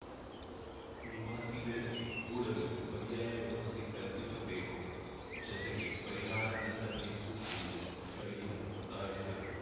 ನಿವಾಸಿಗಳಿಗೆ ಕೂಡಲೇ ಪರ್ಯಾಯ ವ್ಯವಸ್ಥೆ ಕಲ್ಪಿಸಬೇಕು ಜತೆಗೆ ಪರಿಹಾರ ನೀಡಬೇಕು ಎಂದು ಸ್ಥಳೀಯರು ಒತ್ತಾಯಿಸಿದರು